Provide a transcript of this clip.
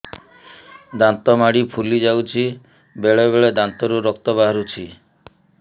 ଦାନ୍ତ ମାଢ଼ି ଫୁଲି ଯାଉଛି ବେଳେବେଳେ ଦାନ୍ତରୁ ରକ୍ତ ବାହାରୁଛି